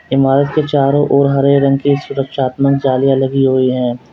ईमारत के चारों ओर हरे रंग की सुरक्षात्मक जालियां लगी हुई हैं।